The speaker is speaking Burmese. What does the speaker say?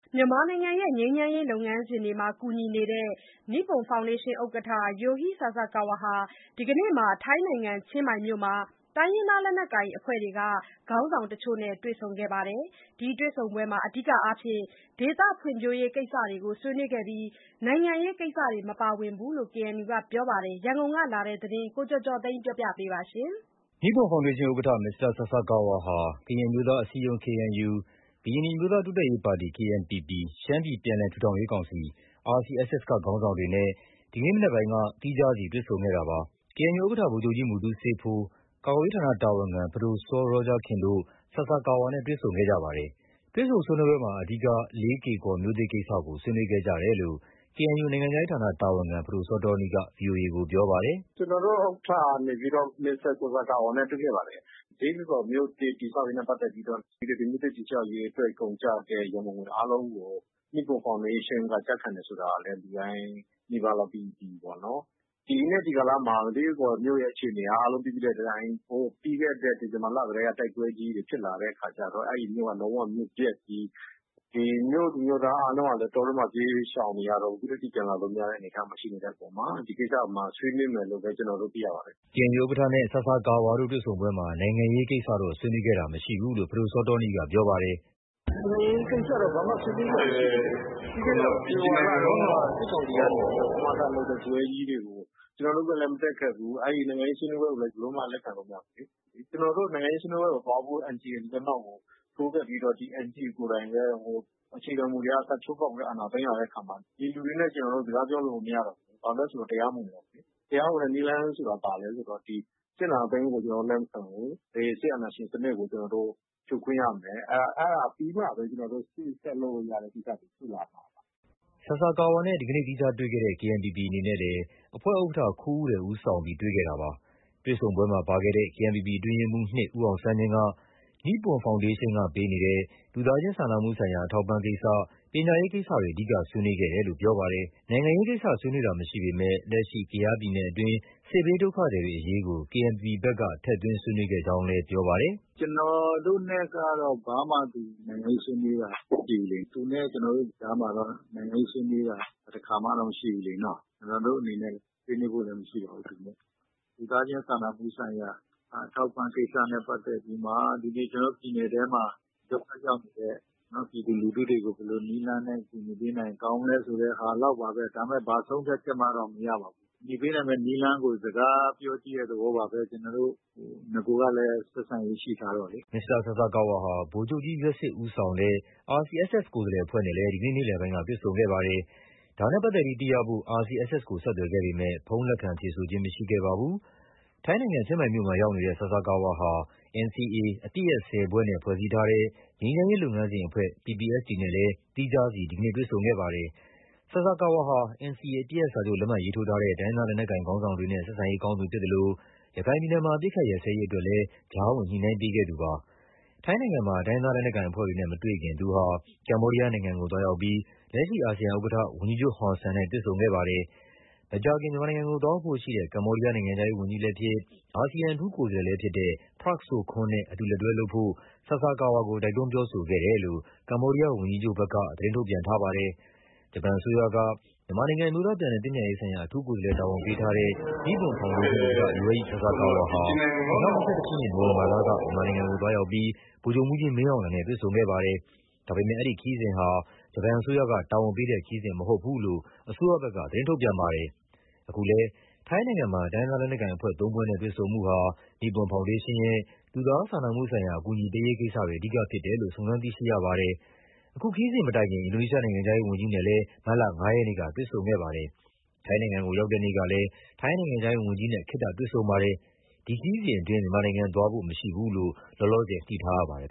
မြန်မာနိုင်ငံရဲ့ ငြိမ်းချမ်းရေးလုပ်ငန်းစဉ်တွေမှာ ကူညီနေတဲ့ နိပွန်ဖောင်ဒေးရှင်းဥက္ကဋ္ဌ Yohei Sasakawa ဟာ ဒီကနေ့ ထိုင်းနိုင်ငံ ချင်းမိုင်မြို့မှာ တိုင်းရင်းသားလက်နက်ကိုင်အဖွဲ့တွေက ခေါင်းဆောင်တချို့နဲ့ တွေ့ဆုံခဲ့ပါတယ်။ ဒီတွေ့ဆုံပွဲမှာ အဓိကအားဖြင့် ဒေသဖွံ့ဖြိုးရေးကိစ္စတွေကို ဆွေးနွေးခဲ့ပြီး နိုင်ငံရေးကိစ္စတွေမပါဝင်ဘူးလို့ KNU ကပြောပါတယ်။ ရန်ကုန်ကလာတဲ့ ဒီသတင်းကိုတော့ ကိုကျော်ကျော်သိန်းက တင်ပြပေးထားပါတယ်။ နိပွန်ဖောင်ဒေးရှင်းဥက္ကဋ္ဌ မစ္စတာဆာဆာကာဝါဟာ ကရင်အမျိုးသားအစည်းအရုံး KNU ၊ ကရင်နီအမျိုးသားတိုးတက်ရေးပါတီ KNPP ၊ ရှမ်းပြည်ပြန်လည်ထူထောင်ရေးကောင်စီ RCSS က ခေါင်းဆောင်တွေနဲ့ ဒီကနေ့မနက်ပိုင်းက သီးခြားစီတွေ့ဆုံခဲ့တာပါ။ KNU ဥက္ကဋ္ဌ ဗိုလ်ချုပ်ကြီး မူတူးဆေးဖိုး၊ ကာကွယ်ရေးဌာနတာဝန်ခံ ပဒိုစောရောဂျာခင်တို့ ဆာဆာကာဝါနဲ့ တွေ့ဆုံခဲ့ကြပါတယ်။ တွေ့ဆုံဆွေးနွေးပွဲမှာ အဓိက လေးကေ့ကော်မြို့သစ် ကိစ္စကို ဆွေးနွေးခဲ့ကြတယ်လို့ KNU နိုင်ငံခြားရေးဌာန တာဝန်ခံ ပဒိုစောတောနီးက ဗွီအိုအေ ကို ပြောပါတယ်။ “ကျနော်တို့ ဥက္ကဋ္ဌကနေပြီးတော့ မစ္စတာ ဆာဆာကာဝါနဲ့ တွေ့ခဲ့ပါတယ်။ လေးကေ့ကော်မြို့သစ် တည်ဆောက်ရေးနဲ့ ပတ်သက်ပြီးတော့ ဒီမြို့သစ်တည်ဆောက်ရေးအတွက် ကုန်ကျတဲ့ ရန်ပုံငွေအားလုံးကို နိပွန်ဖောင်ဒေးရှင်းက ကျခံတယ်ဆိုတာကလည်း လူတိုင်းနီးပါးလောက် သိပြီးပြီပေါ့နော်။ ဒီနေ့ ဒီကာလမှာ လေးကေ့ကော်မြို့သစ်ရဲ့ အခြေအနေက အားလုံးသိပြီးတဲ့အတိုင်း ပြီးခဲ့တဲ့ ဒီဇင်ဘာလတည်းက တိုက်ပွဲကြီးတွေ ဖြစ်လာတဲ့အခါကျတော့ အဲဒီမြို့က လုံးဝ မြို့ပျက်ကြီး၊ မြို့သူမြို့သားအားလုံးကလည်း တောထဲမှာ ပြေးရှောင်နေရတော့ အခုထက်ထိ ပြန်လာလို့မရတဲ့ အနေအထား ရှိနေတဲ့အပေါ်မှာ ဒီကိစ္စ ဆွေးနွေးမယ်လို့ပဲ ကျနော်တို့ သိရပါတယ်။” KNU ဥက္ကဋ္ဌနဲ့ ဆာဆာကာဝါတို့ တွေ့ဆုံပွဲမှာ နိုင်ငံရေးကိစ္စတွေတော့ ဆွေးနွေးခဲ့ခြင်းမရှိဘူးလို့ ပဒိုစောတောနီးကပြောပါတယ်။ “နိုင်ငံရေးကိစ္စတော့ ဘာမှ ဆွေးနွေးစရာမရှိဘူးလေ။ ပြီးခဲ့တဲ့ ဖေဖော်ဝါရီလတုန်းက စစ်ကောင်စီက ကမကထလုပ်တဲ့ ပွဲကြီးတွေ ကို ကျနော်တို့ကမတက်ခဲ့ဘူး။ နိုင်ငံရေးဆွေးနွေးပွဲကိုလည်း လက်ခံလို့ မရဘူးလေ။ ကျနော်တို့ နိုင်ငံရေးဆွေးနွေးပွဲကိုသွားဖို့ NCA ကို လက်မှတ်ထိုးခဲ့ပြီး ဒီ NCA ကိုယ်တိုင်လည်း အခြေခံမူတွေက စချိုးဖောက်ပြီး အာဏာသိမ်းလာတဲ့အခါမှာ ဒီလူတွေနဲ့ ကျနော်တို့ စကားပြောလို့ကို မရတော့ဘူးလေ။ ဘာလို့လဲဆို တရားမဝင်တော့ဘူးလေ။ တရားဝင်တဲ့နည်းလမ်းဆိုတာ ဘာလဲ ဆိုတော စစ်အာဏာသိမ်းမှုကို ကျနော်တို့ လက်မခံဘူး။ စစ်အာဏာရှင်စနစ်ကို ကျနော်တို့ ဖြိုခွင်းရမယ်။ အဲဒါပြီးမှပဲ ကျနော်တို့ ရှေ့ဆက်လုပ်လို့ရမယ့်ကိစ္စတွေ ရှိလာမှာပါ။” ဒီနေ့ ဆာဆာကာဝါနဲ့ သီးခြားတေ့ွခဲ့တဲ့ KNPP အနေနဲ့လည်း အဖွဲ့ဥက္ကဋ္ဌ ခူးဦးရယ် ဦးဆောင်ပြီး တွေ့ခဲ့တာပါ။ တွေ့ဆုံပွဲမှာ ပါခဲ့တဲ့ KNPP အတွင်းရေးမှူး ၂ ဦးအောင်ဆန်းမြင့်က နိပွန်ဖောင်ဒေးရှင်းက ပေးအပ်နေတဲ့ လူသားချင်းစာနာမှုဆိုင်ရာ အထောက်အပံ့ကိစ္စ၊ ပညာရေးကိစ္စတွေ အဓိက ဆွေးနွေးဖြစ်တယ်လို့ ပြောပါတယ်။ နိုင်ငံရေးကိစ္စဆွေးနွေးတာမရှိပေမယ့် လက်ရှိ ကယားပြည်နယ်အတွင်းက စစ်ဘေးဒုက္ခသည်တွေအရေးကို KNPP ဘက်က ထည့်သွင်း ဆွေးနွေးခဲ့ကြောင်းလည်း ပြောပါတယ်။ “ကျနော်တို့နဲ့ကတော့ ဘာမှ နိုင်ငံရေးဆွေးနွေးတာမရှိဘူးလေ။ သူနဲ့ ကျနော်တို့နဲ့ကြားမှာတော့ နိုင်ငံရေးဆွေးနွေးတာ တခါမှလည်း မရှိဘူးလေနော။ ကျနော်တို့အနေနဲ့ ဆွေးနွေးဖို့လည်းမရှိပါဘူး။ လူသားချင်းစာနာမှုဆိုင်ရာ အထောက်အပံ့ကိစ္စနဲ့ ပတ်သက်ပြီးမှ ဒီနေ့ ကျနော်တို့ ပြည်နယ်ထဲမှာ ဒုက္ခရောက်နေတဲ့ ပြည်သူလူထုတွေကို ဘယ်လိုနည်းလမ်းနဲ့ ကူညီပေးနိုင်ရင် ကောင်းမလဲဆိုတဲ့ဟာလောက်ပါပဲ။ ဒါပေမယ့် ဘာဆုံးဖြတ်ချက်မှတော့ မရပါဘူး။ ကူညီပေးနိုင်မဲ့နည်းလမ်းကို စကားပြောကြည့်တဲ့ သဘောပါပဲ။ နဂိုကလည်း ဆက်ဆံရေးရှိထားတော့လေ။ ” မစ္စတာဆာဆာကာဝါဟာ ဗိုလ်ချုပ်ကြီးယွက်စစ်ဦးဆောင်တဲ့ RCSS ကိုယ်စားလှယ်အဖွဲ့နဲ့လည်း ဒီနေ့ နေ့လယ်ပိုင်းက တွေဆုံခဲ့ ပါတယ်။ ဒါနဲ့ပတ်သက်ပြီးသိရဖို့ RCSS ကို ဆက်သွယ်ခဲ့ပေမဲ့ ဖုန်းလက်ခံဖြေဆိုခြင်း မရှိခဲ့ပါဘူး။ ထိုင်းနိုင်ငံ ချင်းမိုင်မြို့မှာရောက်နေတဲ့ ဆာဆာကာဝါဟာ NCA အပစ်ရပ် ၁၀ ဖွဲ့နဲ့ ဖွဲ့စည်းထားတဲ့ ငြိမ်းချမ်းရေးလုပ်ငန်းစဉ် ဦးဆောင်အဖွဲ့ PPST နဲ့လည်း သီးခြားစီ ဒီနေ့ တွေ့ဆုံခဲ့ပါတယ်။ မစ္စတာဆာဆာကာဝါဟာ NCA အပစ်ရပ်စာချုပ်လက်မှတ်ရေးထိုးထားတဲ့ တိုင်းရင်းသားလက်နက်ကိုင်ခေါင်းဆောင်တွေနဲ့ ဆက်ဆံရေးကောင်းသူဖြစ်သလို ရခိုင်ပြည်နယ်မှာ အပစ်အခတ် ရပ်စဲရေးအတွက်လည်း ကြားဝင်ညှိနှိုင်းပေးခဲ့သူ ဖြစ်ပါတယ်။ အခုလို ထိုင်းနိုင်ငံမှာ တိုင်းရင်းသားလက်နက်ကိုင်အဖွဲ့တွေနဲ့မတွေ့ခင် သူဟာ ကမ္ဘောဒီးယားနိုင်ငံကို သွားရောက်ပြီး လက်ရှိ အာဆီယံဥက္ကဋ္ဌ ဝန်ကြီးချုပ်ဟွန်ဆန်နဲ့ တွေ့ဆုံခဲ့ပါတယ်။ မကြာခင် မြန်မာနိုင်ငံကို သွားရောက်ဖို့ရှိတဲ့ ကမ္ဘောဒီးယား နိုင်ငံခြား ရေးဝန်းကြီးလည်းဖြစ်၊ အာဆီယံ အထူးကိုယ်စားလှယ်လည်းဖြစ်တဲ့ Prak Sokhonn နဲ့ အတူလက်တွဲလုပ်ဖို့ ဆာဆာကာဝါကို တိုက်တွန်းပြောကြားခဲ့တယ်လို့ ကမ္ဘောဒီးယားဝန်ကြီးချုပ်ဘက်က သတင်းထုတ်ပြန်ထားပါတယ်။ ဂျပန်အစိုးရက မြန်မာနိုင်ငံ အမျိုးသားပြန်လည်သင့်မြတ်ရေးဆိုင်ရာ အထူးကိုယ်စားလှယ်တာဝန်ပေးထားတဲ့ နိပွန်ဖောင်ဒေးရှင်း ဥက္ကဋ္ဌ Yohei Sasakawa ဟာ ၂၀၂၁ ခုနှစ် နိုဝင်ဘာလက မြန်မာနိုင်ငံကို သွားရောက်ပြီး စစ်ကောင်စီအကြီးအကဲ ဗိုလ်ချုပ်မှူးကြီးမင်းအောင်လှိုင်နဲ့ တွေ့ဆုံခဲ့ပါတယ်။ ဒါပေမဲ့ အဲဒီခရီးစဉ်ဟာ ဂျပန်အစိုးရကတာဝန်ပေးတဲ့ ခရီးစဉ်မဟုတ်ဘူးလို့ ဂျပန်အစိုးရဘက်က ထုတ်ပြန်ခဲ့ပါတယ်။ အခုလည်း ထိုင်းနိုင်ငံမှာ တိုင်းရင်းသားလက်နက်ကိုင်အဖွဲ့ ၃ ဖွဲ့နဲ့ တွေ့ဆုံမှုဟာ နိပွန် ဖောင်ဒေးရှင်းရဲ့ လူသားစာနာမှုဆိုင်ရာ အကူအညီပေးရေးကိစ္စတွေ အဓိကဖြစ်တယ်လို့ စုံစမ်းသိရပါတယ်။ အခုခရီးစဉ်မတိုင်ခင် အင်ဒိုနီးရှားနိုင်ငံခြားရေးဝန်ကြီးနဲ့လည်း မတ်လ ၅ ရက်နေ့ကတွေ့ဆုံခဲ့ပါတယ်။ ထိုင်းနိုင်ငံကို ရောက်တဲ့ နေ့ကလည်း ထိုင်းနိုင်ငံခြားရေးဝန်ကြီးနဲ့ ခေတ္တတွေ့ဆုံခဲ့ပါတယ်။ ဒီခရီးစဉ်အတွင်း မြန်မာနိုင်ငံသွားဖို့ မရှိဘူးလို့ လောလောဆယ် သိထားရပါတယ်